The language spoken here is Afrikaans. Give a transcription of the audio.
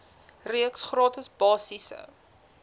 reeks gratis basiese